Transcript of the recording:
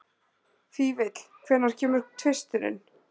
Fífill, hvenær kemur tvisturinn?